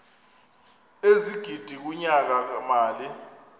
ezigidi kunyaka mali